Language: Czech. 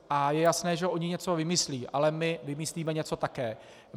A je jasné, že oni něco vymyslí, ale my vymyslíme něco také.